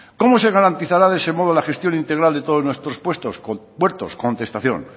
cómo se garantizará de ese modo la gestión integral de todos nuestros puertos contestación